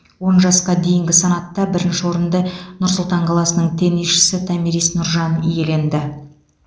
он жасқа дейінгі санатта бірінші орынды нұр сұлтан қаласының теннисшісі томирис нұржан иеленді